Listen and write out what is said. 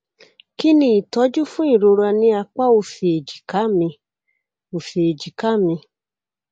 kí ni ìtọjú fún ìrora ní apá òsì èjìká mi òsì èjìká mi